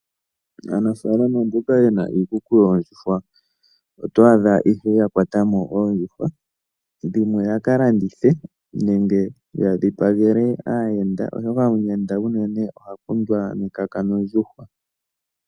Aanafalama mboka yena iikuku yoondjuhwa oto adha ie ya kwatamo oondjuhwa dhimwe ya kalandithe nenge ya dhipagele omuyenda oshoka omuyenda unene oha kundwa nekaka nondjuhwa.